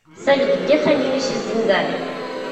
салют где хранилище с деньгами